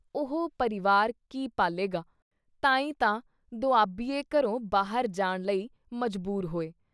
ਉਹ ਪਰਿਵਾਰ ਕੀ ਪਾਲ਼ੇਗਾ ? ਤਾਂ ਈ ਤਾਂ ਦੁਆਬੀਏ ਘਰੋਂ ਬਾਹਰ ਜਾਣ ਲਈ ਮਜ਼ਬੂਰ ਹੋਏ।